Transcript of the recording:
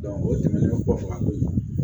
o tɛmɛnen kɔ fan koyi